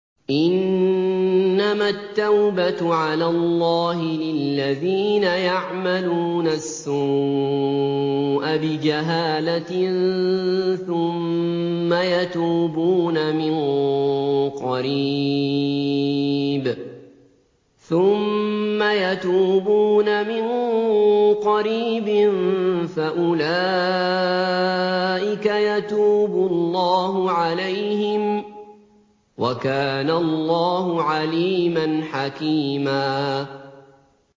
إِنَّمَا التَّوْبَةُ عَلَى اللَّهِ لِلَّذِينَ يَعْمَلُونَ السُّوءَ بِجَهَالَةٍ ثُمَّ يَتُوبُونَ مِن قَرِيبٍ فَأُولَٰئِكَ يَتُوبُ اللَّهُ عَلَيْهِمْ ۗ وَكَانَ اللَّهُ عَلِيمًا حَكِيمًا